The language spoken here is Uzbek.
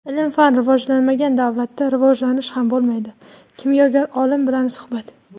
"Ilm-fan rivojlanmagan davlatda rivojlanish ham bo‘lmaydi" — kimyogar olim bilan suhbat.